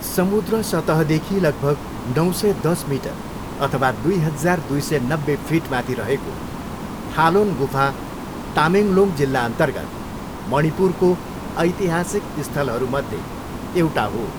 समुद्र सतहदेखि लगभग नौ सय दस मिटर अथवा दुई हजार, दुई सय नब्बे फिटमाथि रहेको थालोन गुफा तामेङ्ग्लोङ जिल्लाअन्तर्गत मणिपुरको ऐतिहासिक स्थलहरूमध्ये एउटा हो।